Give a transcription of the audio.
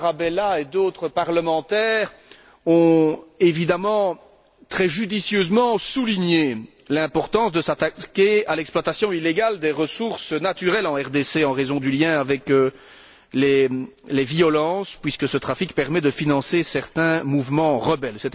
Tarabella et d'autres parlementaires ont évidemment souligné très judicieusement l'importance qu'il y a de s'attaquer à l'exploitation illégale des ressources naturelles en RDC, en raison du lien qu'elle comporte avec les violences, puisque ce trafic permet de financer certains mouvements rebelles.